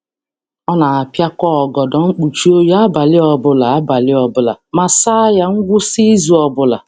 Ọ na-apiakọ ọgọdọ mkpuchi oyi abalị ọbụla abalị ọbụla ma saa ya ngwụsị izu ọbụla.